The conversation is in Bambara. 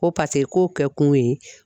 Ko k'o kɛ kun ye